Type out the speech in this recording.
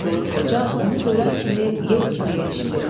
Qazılıq Qoca onu görən kimi yel kimi yetişdi.